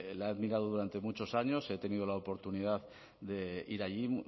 la he admirado durante muchos años he tenido la oportunidad de ir allí